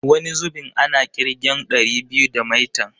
Wani zubin ana ƙirgen ɗari biyu da maitan.